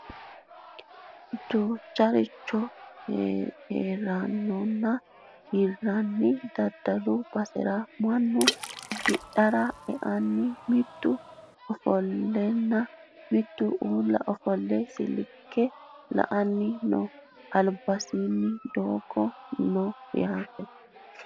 duucharicho hidhinanninna hirranni daddalu basera mannu hidhara e"anni mitu ofolleenna mittu uulla ofolle silke la"anni no albansaani doogo no yaate